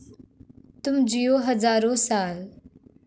तुम जियो हजारो साल...